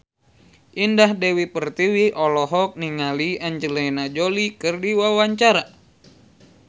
Indah Dewi Pertiwi olohok ningali Angelina Jolie keur diwawancara